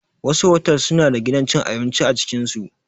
Wasu otal suna da gidan cin abinci a cikin su.